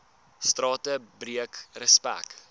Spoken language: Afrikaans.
strate breek respek